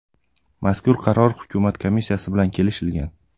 Mazkur qaror hukumat komissiyasi bilan kelishilgan.